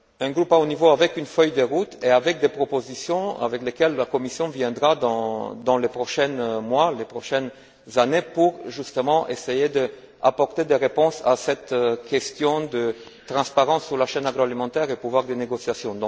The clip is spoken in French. groupe de haut niveau avec une feuille de route et avec des propositions, avec lesquelles la Commission viendra dans les prochains mois, les prochaines années pour, justement, essayer d'apporter des réponses à cette question de transparence sur la chaîne agroalimentaire et le pouvoir des négociations.